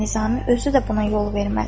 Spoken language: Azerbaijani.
Nizami özü də buna yol verməz.